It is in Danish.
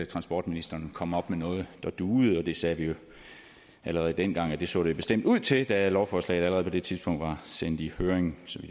transportministeren kom op med noget der duede det sagde vi allerede dengang at det så det bestemt ud til da lovforslaget allerede på det tidspunkt var sendt i høring så